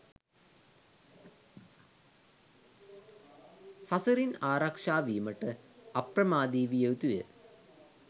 සසරින් ආරක්‍ෂා වීමට අප්‍රමාදි විය යුතුය.